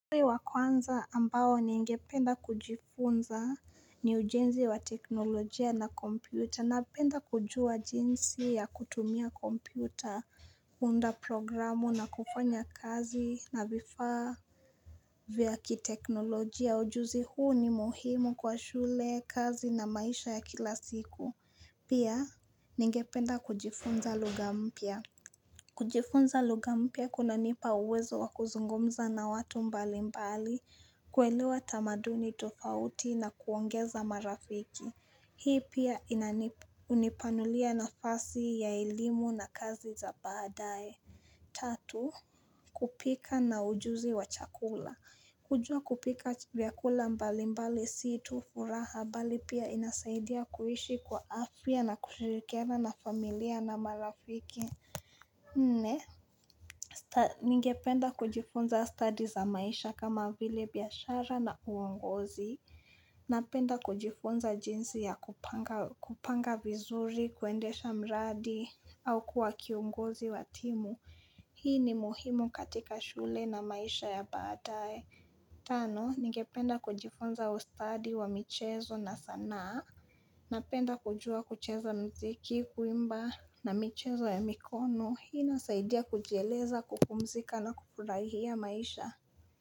Ujenzi wa kwanza ambao ningependa kujifunza ni ujenzi wa teknolojia na kompyuta napenda kujua jinsi ya kutumia kompyuta, kuunda programu na kufanya kazi na vifaa vya kiteknolojia. Ujuzi huu ni muhimu kwa shule, kazi na maisha ya kila siku. Pia ningependa kujifunza lugha mpya. Kujifunza lugha mpya kunanipa uwezo wa kuzungumza na watu mbali mbali kuelewa tamaduni tofauti na kuongeza marafiki Hii pia hunipanulia nafasi ya elimu na kazi za baadae Tatu, kupika na ujuzi wa chakula kujua kupika vyakula mbali mbali si tu furaha bali pia inasaidia kuishi kwa afia na kushirikiana na familia na marafiki Nne, ningependa kujifunza study za maisha kama vile biashara na uongozi. Napenda kujifunza jinsi ya kupanga vizuri, kuendesha mradi, au kuwa kiongozi wa timu. Hii ni muhimu katika shule na maisha ya badaye. Tano, ningependa kujifunza ustadi wa michezo na sanaa. Napenda kujua kucheza mziki, kuimba na michezo ya mikono. Hii inasaidia kujieleza, kupumzika na kufurahia maisha.